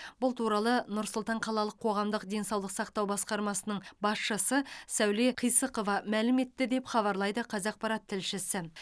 бұл туралы нұр сұлтан қалалық қоғамдық денсаулық сақтау басқармасының басшысы сәуле қисықова мәлім етті деп хабарлайды қазақпарат тілшісі